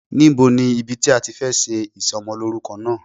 Níbo ni ibi tí a ti fẹ́ ṣe Ìsọmọlórúkọ náà